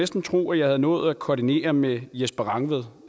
skulle tro jeg havde nået at koordinere med jesper rangvid